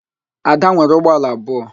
Ada nwere ụgbọala abụọ